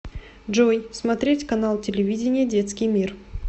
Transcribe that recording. джой смотреть канал телевидения детский мир